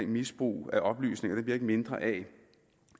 misbrug af oplysningerne bliver ikke mindre af at